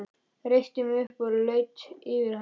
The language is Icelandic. Reisti mig upp og laut yfir hana.